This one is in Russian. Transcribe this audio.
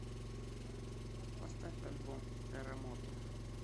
поставь альбом терремото